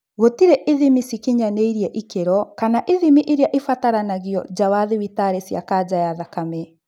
Gũtĩrĩ ithimi cia cikinyanĩirie ikĩro kana ithimi iria itabanagio nja wa thibitari cia kanja ya thakame